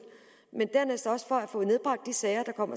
ny sag om